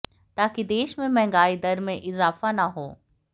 ताकि देश में महंगाई दर में इजाफा ना हो